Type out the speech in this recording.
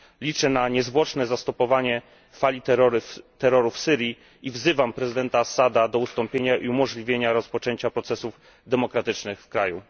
Liczę na niezwłoczne powstrzymanie fali terroru w Syrii i wzywam prezydenta Assada do ustąpienia i umożliwienia rozpoczęcia procesów demokratycznych w kraju.